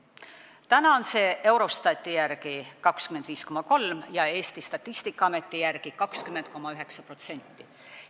Täna on see erinevus Eurostati järgi 25,3% ja Eesti Statistikaameti järgi 20,9%.